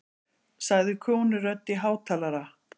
sagði konurödd í hátalara.